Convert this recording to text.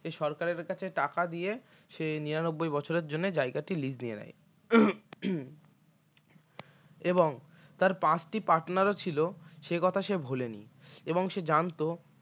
সরকারের কাছে টাকা দিয়ে সে নিরানব্বই বছরের জন্য জায়গাটি lease নিয়ে নেয় এবং তাঁর পাঁচটি partner ছিল সে কথা সে ভোলেনি এবং সে জানতো